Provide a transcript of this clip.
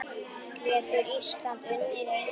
Getur Ísland unnið England?